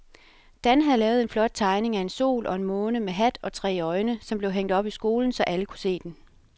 Dan havde lavet en flot tegning af en sol og en måne med hat og tre øjne, som blev hængt op i skolen, så alle kunne se den.